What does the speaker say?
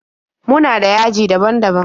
Muna da .yaji daban-daban.